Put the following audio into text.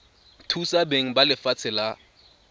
thusa beng ba lefatshe la